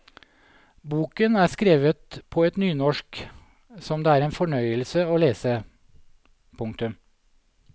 Boken er skrevet på et nynorsk som det er en fornøyelse å lese. punktum